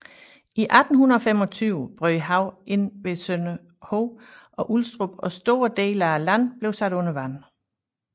I 1825 brød havet ind ved Sønderhoved og Ulstrup og store dele af landet blev sat under vand